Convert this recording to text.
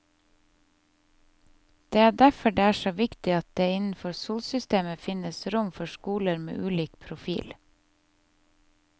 Det er derfor det er så viktig at det innenfor skolesystemet finnes rom for skoler med ulik profil.